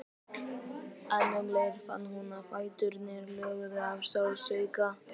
En um leið fann hún að fæturnir loguðu af sársauka.